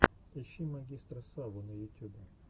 ищи магистра саву на ютюбе